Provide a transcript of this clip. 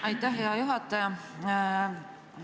Aitäh, hea juhataja!